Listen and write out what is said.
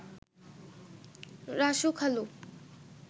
রাসু খালু